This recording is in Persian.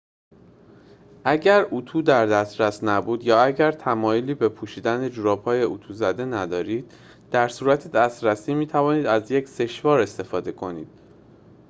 اگر اتو در دسترس نبود یا اگر تمایلی به پوشیدن جوراب‌های اتو زده ندارید در صورت دسترسی می‌توانید از یک سشوار استفاده کنید